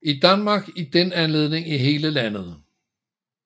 I Danmark er den almindelig i hele landet